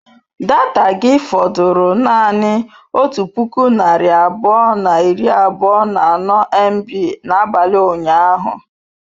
Data gị fọdụrụ naanị otu puku narị abụọ na iri abụọ na anọ mb n'abalị ụnyaahụ?